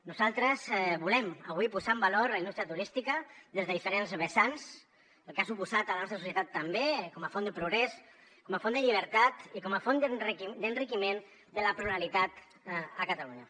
nosaltres volem avui posar en valor la indústria turística des de diferents vessants el que ha suposat a la nostra societat també com a font de progrés com a font de llibertat i com a font d’enriquiment de la pluralitat a catalunya